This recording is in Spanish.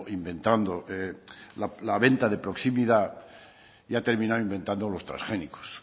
inventando la venta de proximidad y ha terminado inventando los transgénicos